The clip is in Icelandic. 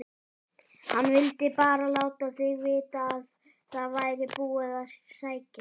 HANN VILDI BARA LÁTA ÞIG VITA AÐ ÞAÐ VÆRI BÚIÐ AÐ SÆKJA